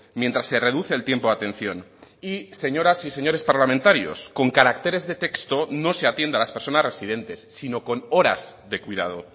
mientras se reduce el tiempo de atención y señoras y señores parlamentarios con caracteres de texto no se atiende a las personas residentes sino con horas de cuidado